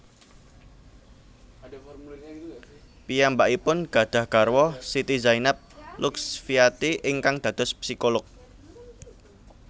Piyambakipun gadhah garwa Siti Zainab Luxfiati ingkang dados psikolog